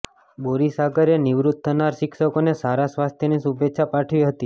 બોરીસાગરએ નિવૃત્ત થનાર શિક્ષકોને સારા સ્વાસ્થ્યની શુભેચ્છા પાઠવી હતી